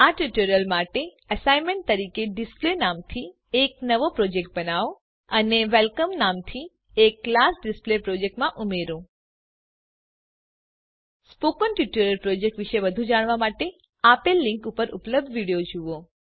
આ ટ્યુટોરીયલ માટે એસાઈનમેંટ તરીકે ડિસ્પ્લે નામથી એક નવો પ્રોજેક્ટ બનાવો અને વેલકમ નામથી એક કલાસ ડીસપ્લે પ્રોજેક્ટ માં ઉમેરો સ્પોકન ટ્યુટોરીયલ પ્રોજેક્ટ વિશે વધુ જાણવા માટે આપેલ લીંક પર ઉપલબ્ધ વિડીયો જુઓ